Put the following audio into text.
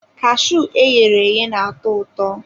Cashuu e ghere eghe na-atọ ụtọ.